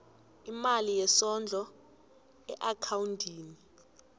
imali yesondlo eakhawundini